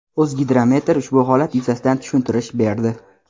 O‘zgidromet ushbu holat yuzasidan tushuntirish berdi.